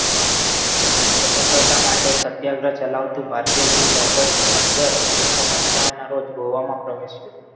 સ્વતંત્રા માટે સત્યાગ્રહ ચલાવતું ભારતીય જૂથ ઓગસ્ટ પંદર ઓગણીસો પંચાવનના રોજ ગોવામાં પ્રવેશ્યું